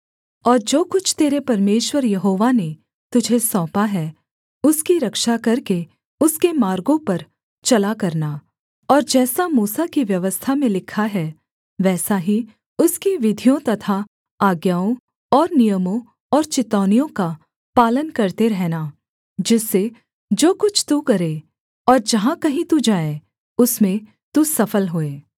और जो कुछ तेरे परमेश्वर यहोवा ने तुझे सौंपा है उसकी रक्षा करके उसके मार्गों पर चला करना और जैसा मूसा की व्यवस्था में लिखा है वैसा ही उसकी विधियों तथा आज्ञाओं और नियमों और चितौनियों का पालन करते रहना जिससे जो कुछ तू करे और जहाँ कहीं तू जाए उसमें तू सफल होए